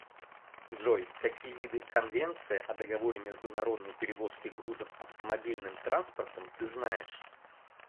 джой какие виды конвенция о договоре международной перевозки грузов автомобильным транспортом ты знаешь